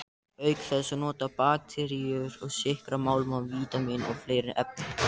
Auk þess nota bakteríur sykra, málma, vítamín og fleiri efni.